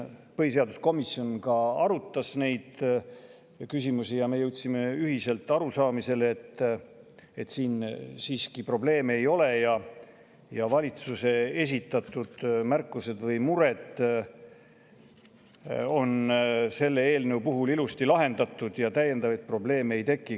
Põhiseaduskomisjon arutas neid küsimusi ja me jõudsime ühisele arusaamisele, et siin siiski probleeme ei ole, valitsuse esitatud mured on selle eelnõu puhul ilusti lahendatud ja täiendavaid probleeme ei teki.